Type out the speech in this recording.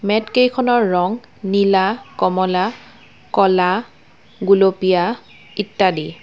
মেটকেইখনৰ ৰং নীলা কমলা ক'লা গুলপীয়া ইত্যাদি।